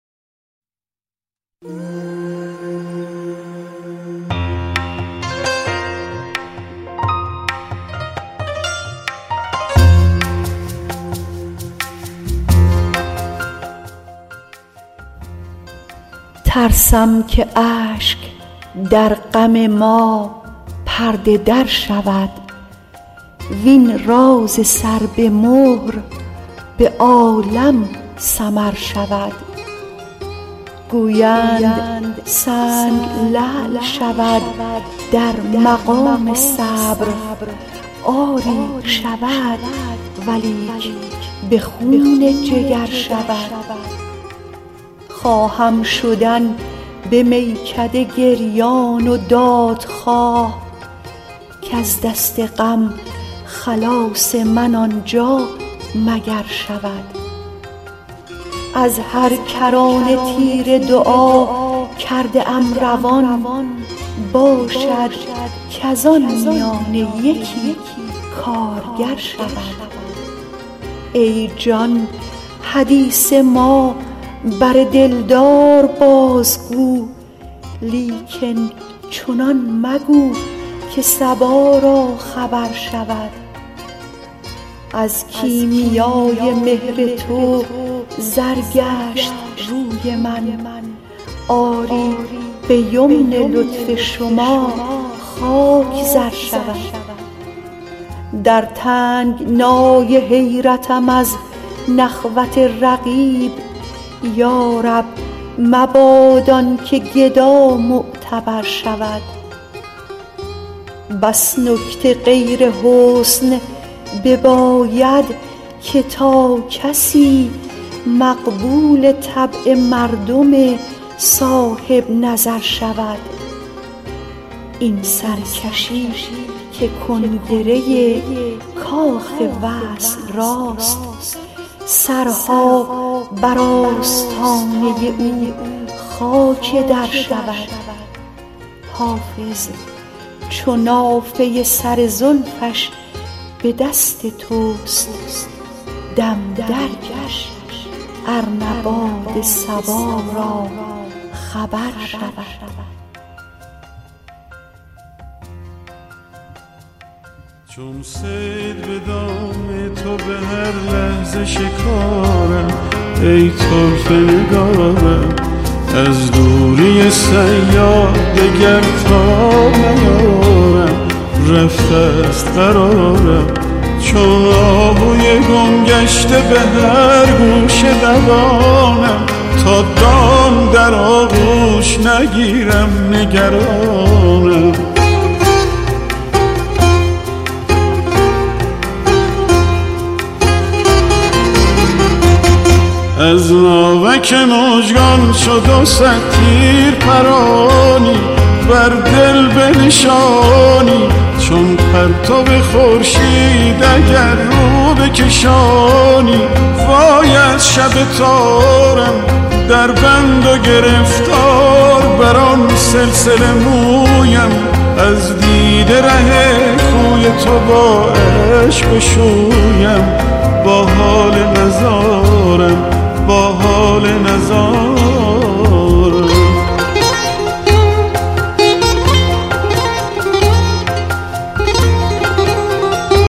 ترسم که اشک در غم ما پرده در شود وین راز سر به مهر به عالم سمر شود گویند سنگ لعل شود در مقام صبر آری شود ولیک به خون جگر شود خواهم شدن به میکده گریان و دادخواه کز دست غم خلاص من آنجا مگر شود از هر کرانه تیر دعا کرده ام روان باشد کز آن میانه یکی کارگر شود ای جان حدیث ما بر دلدار بازگو لیکن چنان مگو که صبا را خبر شود از کیمیای مهر تو زر گشت روی من آری به یمن لطف شما خاک زر شود در تنگنای حیرتم از نخوت رقیب یا رب مباد آن که گدا معتبر شود بس نکته غیر حسن بباید که تا کسی مقبول طبع مردم صاحب نظر شود این سرکشی که کنگره کاخ وصل راست سرها بر آستانه او خاک در شود حافظ چو نافه سر زلفش به دست توست دم درکش ار نه باد صبا را خبر شود